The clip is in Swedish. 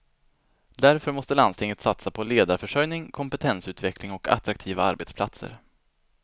Därför måste landstinget satsa på ledarförsörjning, kompetensutveckling och attraktiva arbetsplatser.